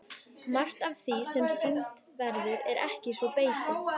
Margt af því sem sýnt verður er ekki svo beysið.